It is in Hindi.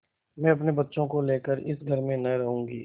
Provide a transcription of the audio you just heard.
मैं अपने बच्चों को लेकर इस घर में न रहूँगी